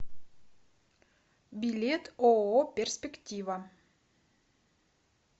билет ооо перспектива